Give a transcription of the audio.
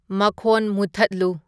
ꯃꯈꯣꯟ ꯃꯨꯊꯠꯂꯨ